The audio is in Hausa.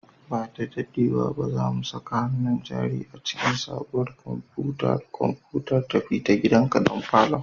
Ba da daɗewa ba, za mu saka hannun jari a cikin sabuwar kwamfuta da kwamfutar tafi-da-gidanka don falon